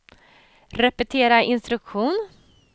repetera instruktion